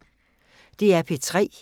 DR P3